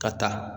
Ka taa